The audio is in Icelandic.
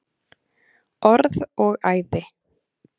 Orð og æði.